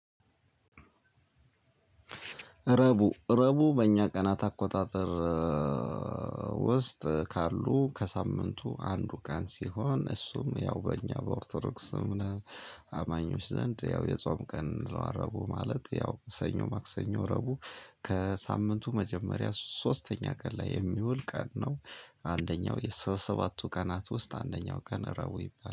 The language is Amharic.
ረቡዕ ረቡዕ በእኛ ቀናት አቆጣጠር ውስጥ ካሉ ከሳምንቱ አንዱ ቀን ሲሆን እሱም ያው በእኛ በኦርቶዶክስ ስም አማኞች ዘንድ ያው የጾም ቀን እረቡ ማለት ያው ሰኞ ማክሰኞ ረቡዕ ከሳምንቱ መጀመሪያ ሶስተኛ ቀን ላይ የሚውል ቀን ነው። አንደኛው ከሰባቱ ቀናት ውስጥ አንደኛው ቀን ረቡዕ ይባላል